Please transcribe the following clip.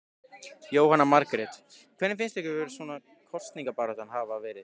Jóhanna Margrét: Hvernig finnst ykkur svona kosningabaráttan hafa verið?